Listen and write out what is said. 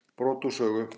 Brot úr sögu